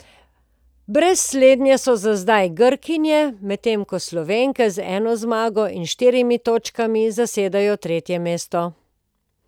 Brez slednje so za zdaj Grkinje, medtem ko Slovenke z eno zmago in štirimi točkami zasedajo tretje mesto.